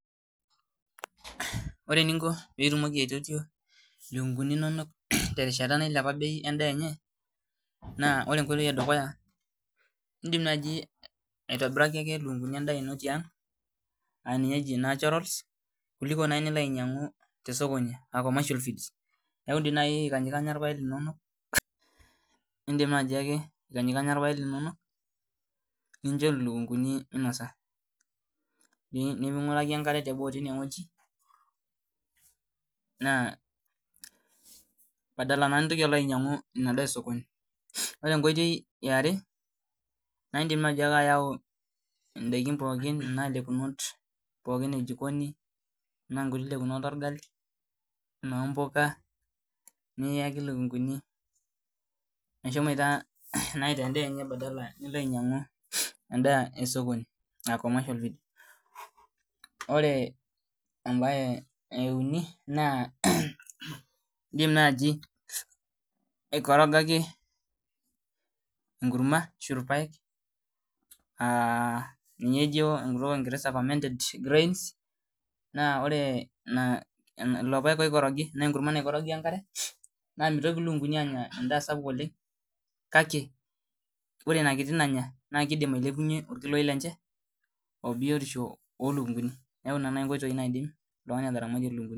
Ore eniko piitumoki aitotio ilukunguni inonok terishata nailepa bei en'daa enye naa ore enkoitoi edukuya in'dim nai ake aitobiraki ilukunguni inonok en'daa tiang' ninye eji naturals kuliko nai nilo ainyangu tesokoni commercial feeds niaku dii nai idim aikanyanyikanya ilapek linono ninjo ilukunguni minosa ning'ur aki enkare naa padala naa nintoki ainyang'u endaa esikoni Ore enkoitoi iare naa in'dim nai ake ayau in'daiki pookin anaa ilekunot pookin ejikoni enaa inguti lekunot olgali enaa inoombuka niyaki ilukunguni meshomoita aitaa endaa enye badala nilo ainyangu en'daa tesokoni naa commercial feed Ore em'bae euni naa in'dim naaji aikorogaki engurma ashu ilpaek aa ninye ejo enguk elingeresa [commented grains] naa ore lelo paek oikorogi ashu ina kurma naikorogi wenkare naa itoki ilukunguni anya en'daa sapuk oleng' kake ore inakiti nanya naa kiidim ailepunye biyotishu olukunguni niaku ina enkoitoi nai naidim ataramatie oltungani ilukunguni